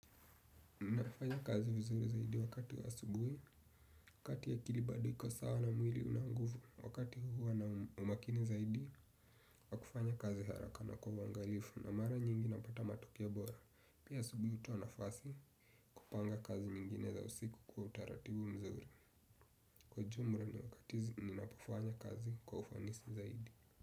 Nafanya kazi vizuri zaidi wakati wa asubuhi, wakati ya akili bado iko sawa na mwili una nguvu, wakati huwa na umakini zaidi, wakufanya kazi haraka na kwa wangalifu na mara nyingi napata matukioa bora. Pia asubuhi utoa nafasi kupanga kazi nyingine za usiku kwa utaratibu mzuri. Kwa ujumla ni wakatizi ninapofanya kazi kwa ufanisi zaidi.